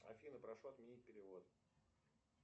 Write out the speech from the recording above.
афина прошу отменить перевод